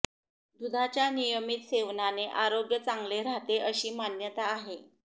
दुधाच्या नियमित सेवानाने आरोग्य चांगले राहते अशी मान्यता आहे